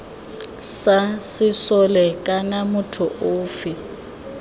sa sesole kana motho ofe